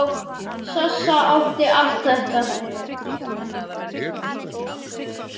Sossa átti allt þetta.